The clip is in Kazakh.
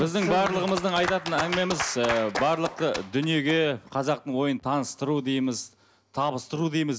біздің барлығымыздың айтатын әңгімеміз ы барлық ы дүниеге қазақтың ойынын таңыстыру дейміз табыстыру дейміз